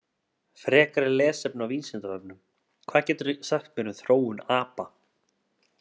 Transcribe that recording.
Frekara lesefni á Vísindavefnum: Hvað geturðu sagt mér um þróun apa?